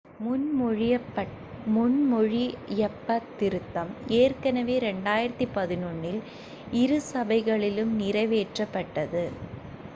முன்மொழியப்பட்ட திருத்தம் ஏற்கனவே 2011 இல் இரு சபைகளிலும் நிறைவேற்றப்பட்டது